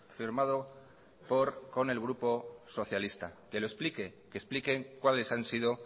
firmado con el grupo socialista que lo explique que expliquen cuáles han sido